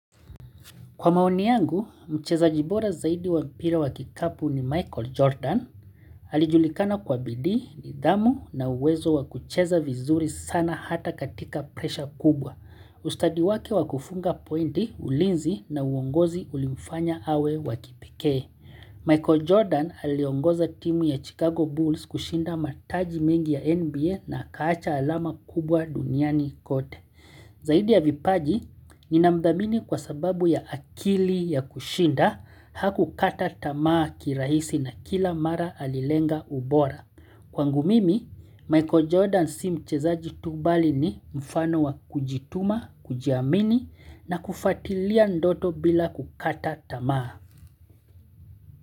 Kwa maoni yangu, mchezaji bora zaidi wa mpira wa kikapu ni Michael Jordan. Alijulikana kwa bidii, nidhamu na uwezo wa kucheza vizuri sana hata katika presha kubwa. Ustadi wake wa kufunga pointi, ulinzi na uongozi ulimfanya awe wa kipekee. Michael Jordan aliongoza timu ya Chicago Bulls kushinda mataji mengi ya NBA na akaacha alama kubwa duniani kote. Zaidi ya vipaji, ninamthamini kwa sababu ya akili ya kushinda hakukata tamaa kirahisi na kila mara alilenga ubora. Kwangu mimi, Michael Jordan si mchezaji tu bali ni mfano wa kujituma, kujiamini na kufuatilia ndoto bila kukata tamaa.